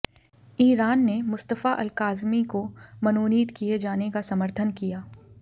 Iran ने Mustafa Alkadhimi को मनोनीत किए जाने का समर्थन किया